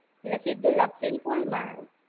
એટલે સીધું લાપસી ને pool માં.